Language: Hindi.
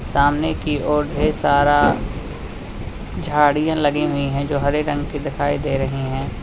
सामने की ओर ढेर सारा झाड़ियां लगी हुईं हैं जो हरे रंग की दिखाई दे रही हैं।